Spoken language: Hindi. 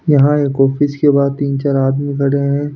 यहाँ एक ऑफिस के बाहर तीन चार आदमी खड़े हैं।